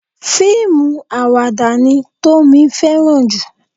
Fíìmù àwàdà ni Tómi fẹ́ràn jù.